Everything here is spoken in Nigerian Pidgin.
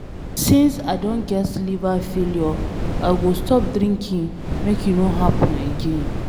Since I don get liver failure I go stop drinking make e no happen again.